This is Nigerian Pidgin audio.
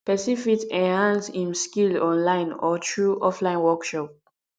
persin fit enhance im skill online or through offline workshop